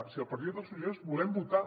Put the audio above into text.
si el partit dels socialistes volem votar